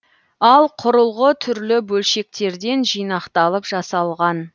ал құрылғы түрлі бөлшектерден жинақталып жасалған